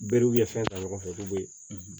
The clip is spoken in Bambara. Berew ye fɛn ta ɲɔgɔn fɛ k'u be